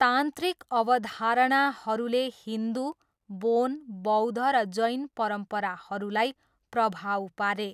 तान्त्रिक अवधारणाहरूले हिन्दु, बोन, बौद्ध र जैन परम्पराहरूलाई प्रभाव पारे।